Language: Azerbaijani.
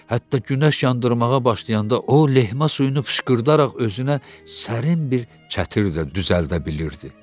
Hətta günəş yandırmağa başlayanda o, lehmə suyunu pışqırdaraq özünə sərin bir çətir də düzəldə bilirdi.